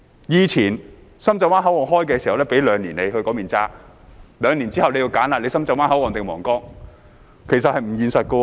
以前深圳灣口岸通關時，批准他在那裏過境兩年，兩年後便要選擇深圳灣口岸或皇崗，其實這是不現實的。